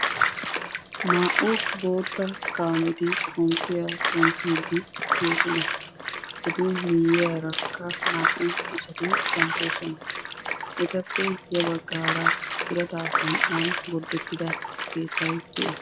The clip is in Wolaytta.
Naa"u boottaa kaameti xomppiya xomppiidi de'oosona. Etu miyiyaarakka naa"u asati kanttoosona. Etappe ya baggaara birataa sanqqan gorddetida keettay de'ees.